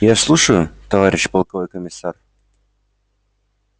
я слушаю товарищ полковой комиссар